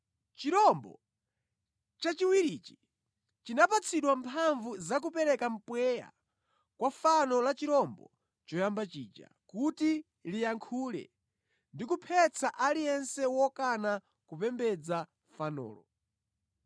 Chirombo cha chiwirichi chinapatsidwa mphamvu zakupereka mpweya kwa fano la chirombo choyamba chija kuti liyankhule ndi kuphetsa aliyense wokana kupembedza fanolo.